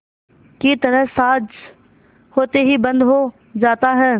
की तरह साँझ होते ही बंद हो जाता है